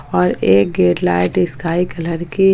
और एक gate light sky colour की--